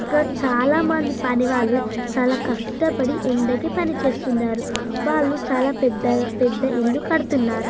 ఇక్కడ చాలామంది పని వాళ్లు చాల కష్టపడి ఎండకి పనిచేస్తున్నారు. వాళ్ళు పెద్ద ఇల్లు కడుతున్నారు.